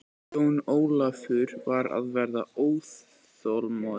Jón Ólafur var að verða óþolinmóður.